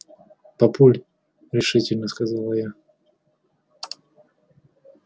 папуль решительно сказала я